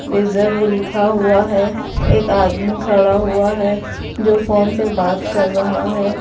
Reserve लिखा हुआ है एक आदमी खड़ा हुआ है जो फोन पे बात कर रहा है।